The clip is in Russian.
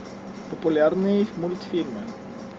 популярные мультфильмы